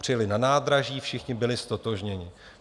Přijeli na nádraží, všichni byli ztotožněni.